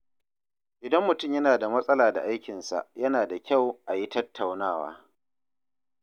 Idan mutum yana da matsala da aikinsa, yana da kyau a yi tattaunawa.